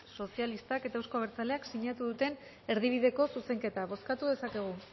euskal sozialistak eta euzko abertzaleak sinatu duten erdibideko zuzenketa bozkatu dezakegu